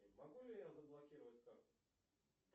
могу ли я заблокировать карту